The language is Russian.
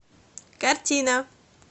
картина